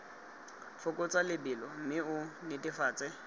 fokotsa lebelo mme o netefatse